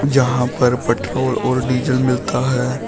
जहां पर पेट्रोल और डीजल मिलता है।